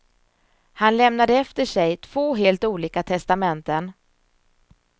Han lämnade efter sig två helt olika testamenten.